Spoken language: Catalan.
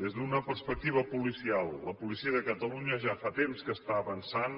des d’una perspectiva policial la policia de catalunya ja fa temps que està avançant